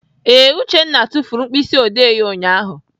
Ee, Uchenna tufuru mkpịsịodee ya ụnyaahụ.